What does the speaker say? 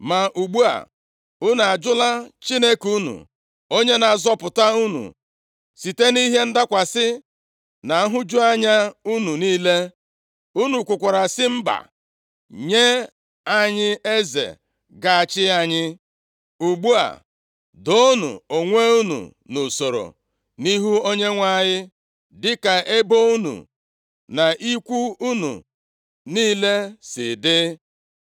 Ma ugbu a, unu ajụla Chineke unu onye na-azọpụta unu site nʼihe ndakwasị na nhụju anya unu niile. Unu kwukwara sị, ‘Mba, nye anyị eze ga-achị anyị.’ Ugbu a, doonụ onwe unu nʼusoro nʼihu Onyenwe anyị dịka ebo unu na ikwu unu niile si dị.”